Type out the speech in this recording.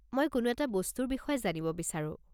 মই কোনো এটা বস্তুৰ বিষয়ে জানিব বিচাৰো।